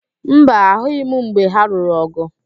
Mba, ahụghị m mgbe ha lụrụ ọ̀gụ̀.